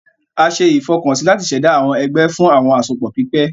A ṣe ìfọkànsí láti ṣ'èdá àwọn egbé fún àwọn àsopọ pípè